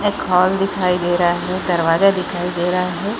एक हॉल दिखाई दे रहा है दरवाज़ा दिखाई दे रहा हैं ।